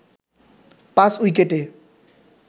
৫ উইকেটে